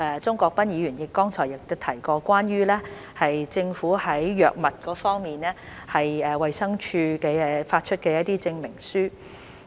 鍾國斌議員剛才亦提及關於政府在藥物方面，衞生署發出的一些證明書。